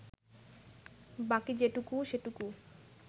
বাকি যেটুকু, সেটুকু